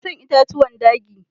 Ina son itatuwan dagi.